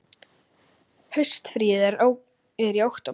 Haustfríið er í október.